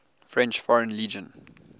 french foreign legion